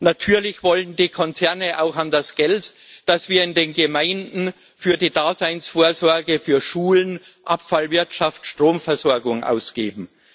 Natürlich wollen die Konzerne auch an das Geld, das wir in den Gemeinden für die Daseinsvorsorge für Schulen, Abfallwirtschaft, Stromversorgung ausgeben.